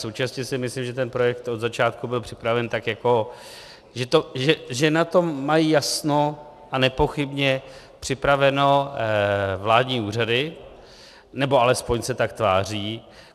Současně si myslím, že ten projekt od začátku byl připraven tak, že na tom mají jasno a nepochybně připraveno vládní úřady, nebo alespoň se tak tváří.